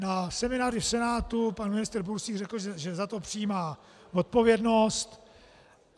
Na semináři v Senátu pan ministr Bursík řekl, že za to přijímá odpovědnost.